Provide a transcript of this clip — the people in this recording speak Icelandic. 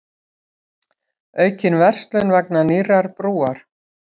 Aukin verslun vegna nýrrar brúar